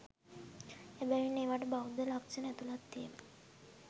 එබැවින් ඒවාට බෞද්ධ ලක්ෂණ ඇතුළත් වීම